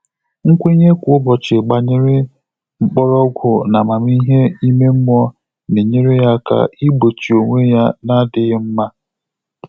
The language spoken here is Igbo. Nkwènye kwá ụ́bọ̀chị̀ gbànyéré mkpọ́rọ́gwụ́ n’ámàmíhè ímé mmụ́ọ́ nà-ényéré yá áká ìgbóchí ónwé yá nà-ádị́ghị́ mmá.